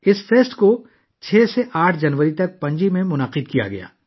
اس festival کا اہتمام Panaji میں 6 سے 8 جنوری تک کیا گیا تھا